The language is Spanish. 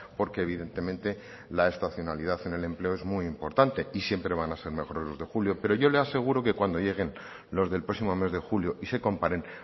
porque evidentemente la estacionalidad en el empleo es muy importante y siempre van a ser mejores los de julio pero yo le aseguro que cuando lleguen los del próximo mes de julio y se comparen